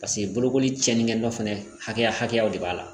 Paseke bolokoli cɛni dɔ fɛnɛ hakɛya hakɛya de b'a la